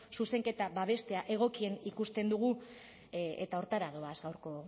zuzenketa babestea egokien ikusten dugu eta horretara doaz gaurko